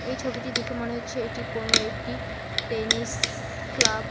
এই ছবিটি দেখে মনে হচ্ছে এটি কোনো একটি টেনিস ক্লাব ।